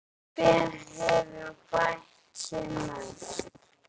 Hver hefur bætt sig mest?